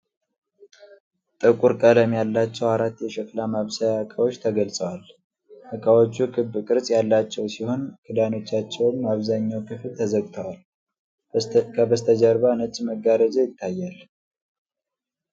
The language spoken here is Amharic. ጥቁር ቀለም ያላቸው አራት የሸክላ ማብሰያ ዕቃዎች ተገልጸዋል። ዕቃዎቹ ክብ ቅርጽ ያላቸው ሲሆን ክዳኖቻቸውም አብዛኛው ክፍል ተዘግቷል። ከበስተጀርባ ነጭ መጋረጃ ይታያል።